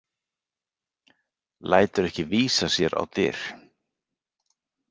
Lætur ekki vísa sér á dyr.